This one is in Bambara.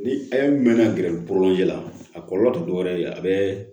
Ni mɛnna gɛrɛn kɔrɔ ji la a kɔlɔlɔ tɛ dɔwɛrɛ ye a bɛɛ